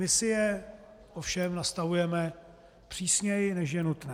My si je ovšem nastavujeme přísněji, než je nutné.